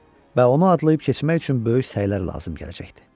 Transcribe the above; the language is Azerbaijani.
Və onu adlayıb keçmək üçün böyük səylər lazım gələcəkdi.